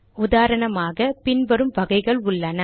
உதாரணமாக பின் வரும் வகைகள் உள்ளன